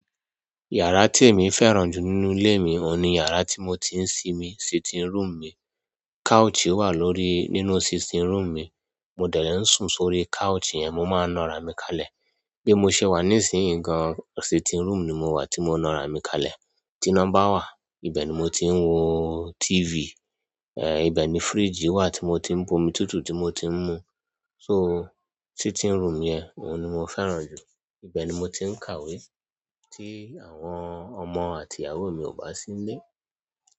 Yàrá tí èmi fẹ́ràn jù nínú ilé mi òun ni yàrá tí mo ti ń sinmi, sitting room mi. Couch wà lórí, nínú sitting room mi, mo dẹ̀ẹ ń sùn sórí couch yẹn, mo máa ń na ara mi kalẹ̀. Bí mo ṣe wà nísìnyí gan-an, sitting room ni mo wà tí mo na ara mi kalẹ̀. Ti iná ba wà, ibẹ̀ ni mo ti ń wo TV. Eh! Ibẹ̀ ni fridge wà tí mo ti ń bu omi tútù tí mo ti ń mu. So, sitting room yẹn òun ni mo fẹ́ràn jù. Ibẹ̀ ni mo ti ń kàwé tí àwọn ọmọ àti ìyàwó mi ò bá sí nilé.